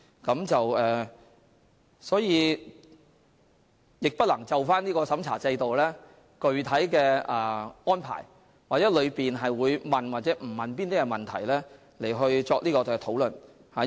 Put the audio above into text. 因此，我不能就深入審查制度的具體安排或過程中會否詢問某些問題作出評論。